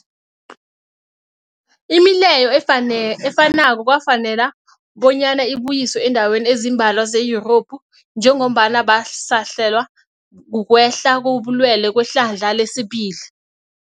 Imileyo efanako kwafanela bonyana ibuyiswe eendaweni ezimbalwa ze-Yurophu njengombana basahlelwa, kukwehla kobulwele kwehlandla lesibili.